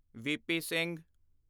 VP. Singh